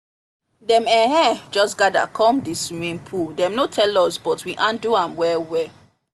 dem um just gather come the swimming pool dem no tell us but we handle am well well